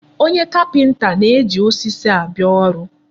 Onye kapịnta a na-eji osisi abịa ọrụ.